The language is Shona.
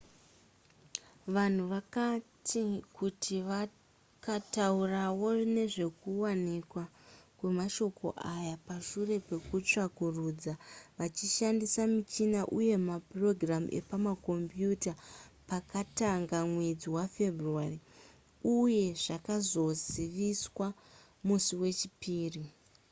vanhu vakati kuti vakataurawo nezvekuwanikwa kwemashoko aya pashure pekutsvakurudza vachishandisa michina uye maprogramu epakombiyuta pakatanga mwedzi wafebruary uye zvakazoziviswa musi wechipiri